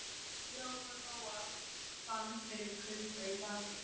Lóa Lóa fann fyrir kulda í bakinu.